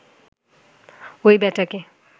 ওই ব্যাটাকে